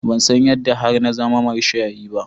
Ban san yadda har na zama mashayi ba.